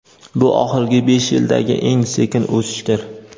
Bu oxirgi besh yildagi eng sekin o‘sishdir.